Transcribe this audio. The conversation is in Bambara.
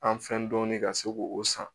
An fɛn dɔɔni ka se k'o san